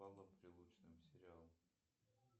с павлом прилучным сериал